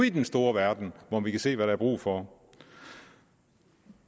i den store verden hvor vi kan se hvad der er brug for